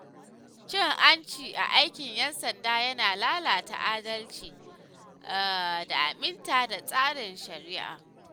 Cin hanci a aikin ‘yan sanda yana lalata adalci da aminta da tsarin shari’a.